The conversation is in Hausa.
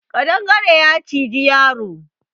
Ƙadangare na ciji yaro